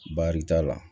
Baari t'a la